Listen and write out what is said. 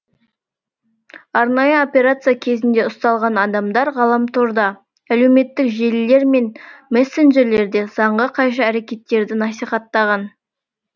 арнайы операция кезінде ұсталған адамдар ғаламторда әлеуметтік желілер мен мессенджерлерде заңға қайшы әрекеттерді насихаттаған